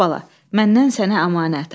Bax bala, mənnən sənə əmanət.